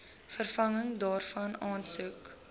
vervanging daarvan aansoek